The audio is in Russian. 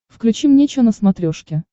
включи мне че на смотрешке